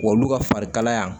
Olu ka farikalaya